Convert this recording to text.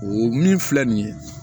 O min filɛ nin ye